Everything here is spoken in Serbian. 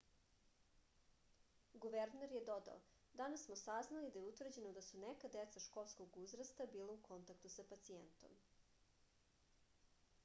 guverner je dodao danas smo saznali da je utvrđeno da su neka deca školskog uzrasta bila u kontaktu sa pacijentom